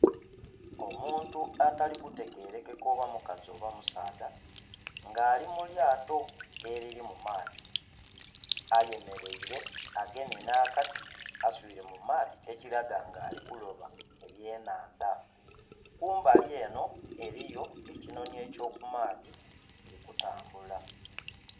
Omuntu atali kutegerekeka oba mukazi oba musaadha nga ali mu lyato eriri mu maadhi ayemeleire agemye n'akati aswiile mu maadhi ekiraga nga ali kuloba ebyenhandha. Kumbali eno eriyo ekinhoni eky'okumaadhi kiri kutambula.